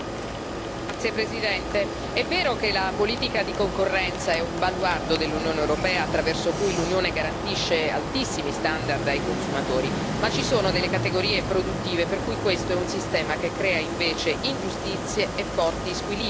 Signor Presidente, onorevoli colleghi, è vero che la politica di concorrenza è un baluardo dell'Unione europea, attraverso cui l'Unione garantisce altissimi standard ai consumatori, ma ci sono delle categorie produttive per cui questo è un sistema che crea invece ingiustizie e forti squilibri.